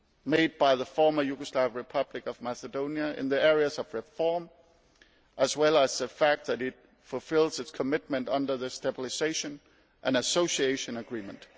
made by the former Yugoslav Republic of Macedonia in the area of reform, as well as the fact that it is fulfilling its commitment under the Stabilisation and Association Agreement.